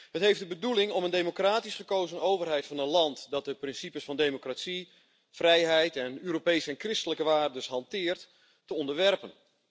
Dat heeft de bedoeling om een democratisch gekozen overheid van een land dat de principes van democratie, vrijheid en Europese en christelijke waardes hanteert, te onderwerpen.